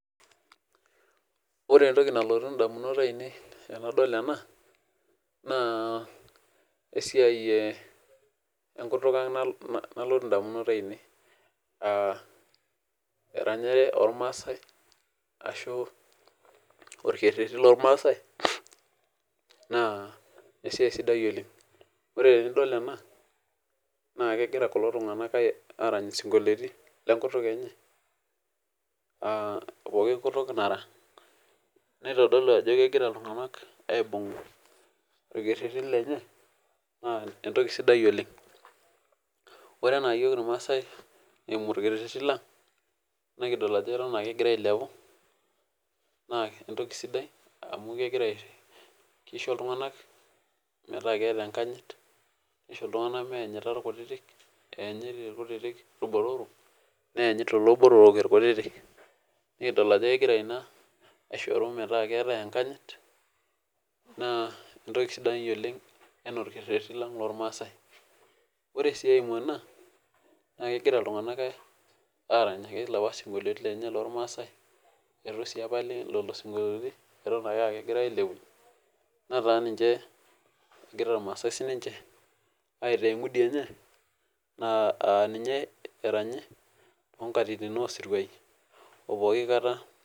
Ore etoki nalotu indamunot ainei tenadol ena naa, esiai eh ekutuk ang nalotu indamunot ainei. Ah eranyare ormaasae ashu, orkereti lormaasae naa esiai sidai oleng. Ore enidol ena naa kegira kulo tunganak arany isikoliotin lekutuk enye ah poki kutuk nara neitodolu ajo kegira iltunganak aibung orkereti lenye naa etoki sidai oleng. Ore ena iyiok irmasaae eimu orkereti lang nikidol ajo eton ake egira ailepu naa etoki sidai amu kegira kisho iltunganak metaa keeta ekanyit nisho iltunganak meeanyita irkutiti, eanyit irkutiti irbotoroo neanyit lelo botoroo irkutiti. Nikidol ajo kegira ina aishoru metaa keaatae enkanyit naa, etoki sidai oleng enaa orkereti lang lormaasae. Ore si ekae naimu ena, naa kegira iltunganak aranyisho lapa siokoliotin lenye lormaasae eitu si epali neno siokoliotin eton ake kegirae ailepunyie netaa ninche egira irmasaae sinche aitaa engudi enye ah ninye eranya too nkatitin osiruai oo poki kata.